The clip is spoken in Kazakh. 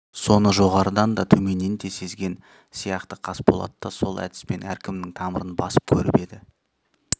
соны жоғарыдан да төменнен де сезген сияқты қасболат та сол әдіспен әркімнің тамырын басып көріп еді